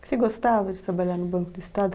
Você gostava de trabalhar no Banco do Estado?